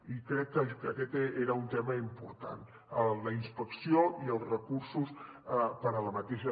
i crec que aquest era un tema important la inspecció i els recursos per a aquesta